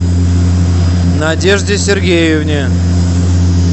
надежде сергеевне